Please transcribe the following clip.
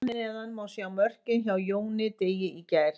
Hér að neðan má sjá mörkin hjá Jóni Degi í gær.